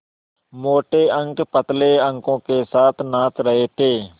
मोटे अंक पतले अंकों के साथ नाच रहे थे